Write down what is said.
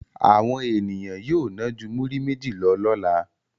Àwọn ènìyàn yóò ná ju múrí méjì lọ lọ́la.